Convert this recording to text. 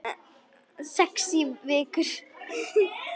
Sex vikur.